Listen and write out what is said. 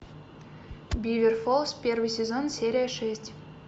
бивер фолс первый сезон серия шесть